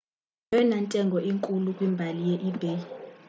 yeyona ntengo inkulu kwimbali ye-ebay